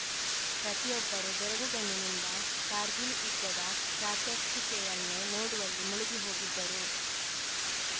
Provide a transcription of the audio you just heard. ಪ್ರತಿಯೊಬ್ಬರೂ ಬೆರಗುಗಣ್ಣಿನಿಂದ ಕಾರ್ಗಿಲ್‌ ಯುದ್ಧದ ಪ್ರಾತ್ಯಕ್ಷಿಕೆಯನ್ನು ನೋಡುವಲ್ಲಿ ಮುಳುಗಿ ಹೋಗಿದ್ದರು